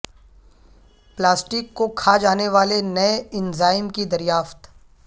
plastic کو کھا جانے والے نئے اینزائم کی دریافت